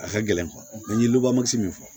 A ka gɛlɛn n ye min fɔ